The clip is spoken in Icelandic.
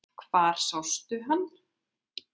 Hvar sástu hann?